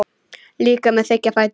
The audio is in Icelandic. Líka með þykka fætur.